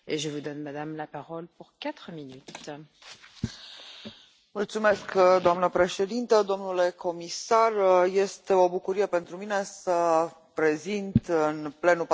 Doamna președintă, domnule comisar, este o bucurie pentru mine să prezint în plenul Parlamentului European primul raport dedicat pescuitului recreativ.